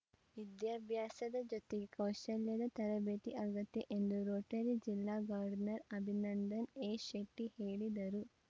ವಿದ್ಯಾಭ್ಯಾಸದ ಜೊತೆಗೆ ಕೌಶಲ್ಯದ ತರಬೇತಿ ಅಗತ್ಯ ಎಂದು ರೋಟರಿ ಜಿಲ್ಲಾ ಗೌರ್ನರ್‌ ಅಭಿನಂದನ್‌ ಎಶೆಟ್ಟಿಹೇಳಿದರು